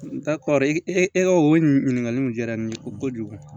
N ka kɔrɔ e ka o ɲininkaliw diyara n ye ko kojugu